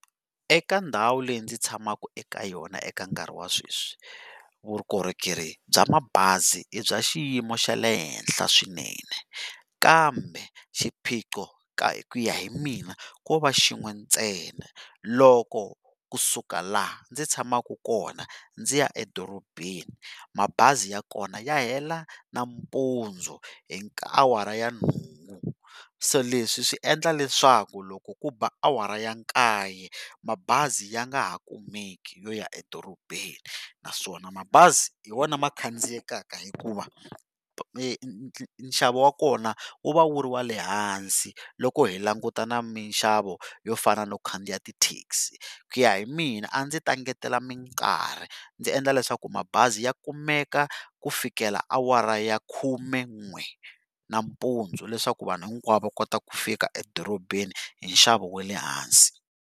Eka ndhawu leyi ndzi tshamaka eka yona eka nkarhi wa sweswi vukorhokeri bya mabazi i bya xiyimo xa le henhla swinene kambe swiphiqo ku ya hi mina ko va xin'we ntsena loko kusuka laha ndzi tshamaka kona ndzi ya edorobeni mabazi ya kona ya hela nampundzu hi awara ya nhungu se leswi swi endla leswaku loko ku ba awara ya nkaye mabazi ya nga ha kumeki yoya edorobeni naswona mabazi hi wona ma khadziyekaka hikuva nxavo wa kona wu va wu ri wale ehansi loko hi langutana ni minxavo yo fana no khandziya ti-taxi ku ya hi mina a ndzi ta engetela mikarhi ndzi endla leswaku mabazi ya kumeka ku fikela awara ya khumen'we nampundzu leswaku vanhu hinkwavo va kota ku fika edorobeni hi nxavo wa le hansi.